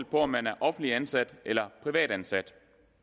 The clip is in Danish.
på om man er offentligt ansat eller privat ansat